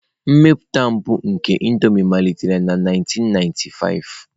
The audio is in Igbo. Mmepụta mbụ nke Indomie malitere na 1995.